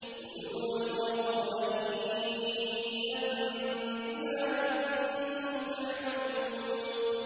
كُلُوا وَاشْرَبُوا هَنِيئًا بِمَا كُنتُمْ تَعْمَلُونَ